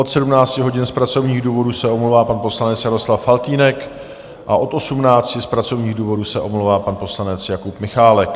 Od 17 hodin z pracovních důvodů se omlouvá pan poslanec Jaroslav Faltýnek a od 18 z pracovních důvodů se omlouvá pan poslanec Jakub Michálek.